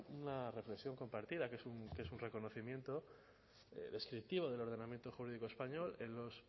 una reflexión compartida que es un reconocimiento descriptivo del ordenamiento jurídico español en los